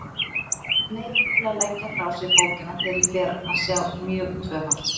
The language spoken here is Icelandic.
Neyðist til að leggja frá mér bókina þegar ég fer að sjá mjög tvöfalt.